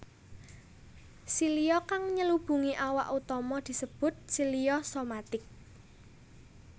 Silia kang nyelubungi awak utama disebut silia somatic